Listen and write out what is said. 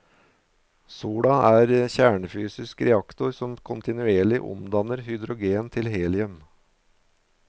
Sola er en kjernefysisk reaktor som kontinuerlig omdanner hydrogen til helium.